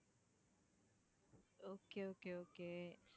okay okay okay